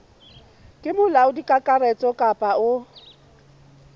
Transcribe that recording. ke molaodi kakaretso kapa o